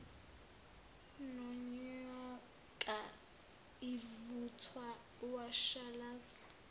nonyoka ivuthwa washalaza